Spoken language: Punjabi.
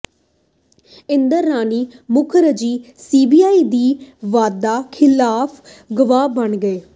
ਇੰਦਰਾਣੀ ਮੁਖਰਜੀ ਸੀਬੀਆਈ ਦੀ ਵਾਅਦਾ ਖ਼ਿਲਾਫ਼ ਗਵਾਹ ਬਣ ਗਈ